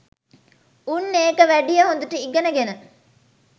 උන් ඒක වැඩිය හොඳට ඉගෙන ගෙන